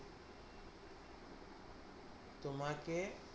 তোমাকে